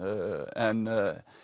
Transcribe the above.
en